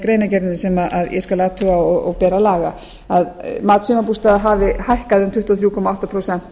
greinargerðinni sem ég skal athuga og ber að laga að mat sumarbústaða hafi hækkað um tuttugu og þrjú komma átta prósent